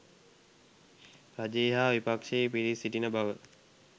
රජයේ හා විපක්ෂයේ පිරිස් සිටින බව